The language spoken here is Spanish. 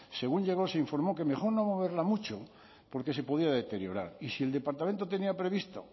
según llegó se informó que mejor no moverla mucho porque se podía deteriorar y si el departamento tenía previsto